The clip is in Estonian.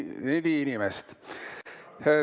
Neli inimest.